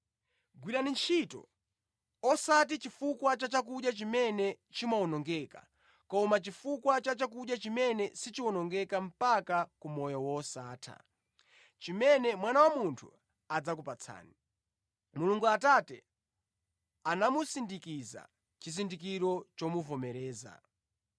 Gwirani ntchito, osati chifukwa cha chakudya chimene chimawonongeka koma chifukwa cha chakudya chimene sichiwonongeka mpaka ku moyo wosatha, chimene Mwana wa Munthu adzakupatsani. Mulungu Atate anamusindikiza chizindikiro chomuvomereza.”